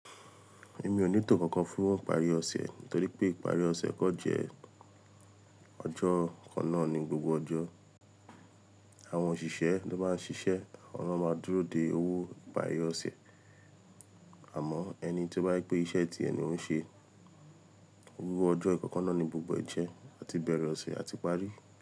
Èmi ò ní tò kankan fúnwọ́n ìparí ọ̀sẹ̀ nítorí pé ìparí ọ̀sẹ̀ kan jẹ́ ọjọ́ kan náà ní gbogbo ọjọ́. Àwọn òṣìṣẹ́ ló máa ń ṣiṣẹ́, awọ̀n na máa dúró de owó nìparí ọ̀sẹ̀. Àmọ́ ẹni tí ó bá jẹ pé iṣẹ́ tíẹ ni ó ń ṣe, owó ọjọ́ ìkọ̀kan náà ni gbogbo ń jẹ́ àti bẹ̀rẹ̀ ọ̀sẹ̀ àti parí.